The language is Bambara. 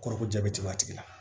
Kɔrɔ ko jabɛti b'a tigi la